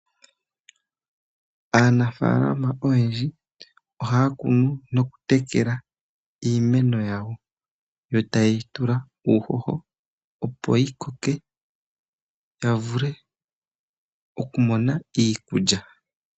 Aanafaalama oyendji ohaya kunu noku tekela iimeno yawo. Yo taye yi tula uuhoho opo yi koke ya vule oku mona iikulya.